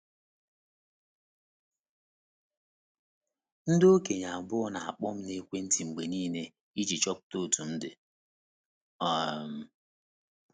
Ndị okenye abụọ na - akpọ m n'ekwentị mgbe nile iji chọpụta otú m dị. um